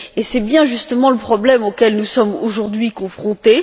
Et c'est bien justement le problème auquel nous sommes aujourd'hui confrontés.